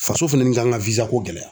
Faso fana ni kan ka ko gɛlɛya